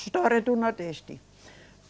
História do Nordeste.